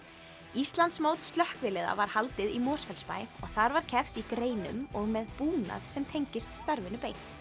Íslandsmót slökkviliða var haldið í Mosfellsbæ og þar var keppt í greinum og með búnað sem tengist starfinu beint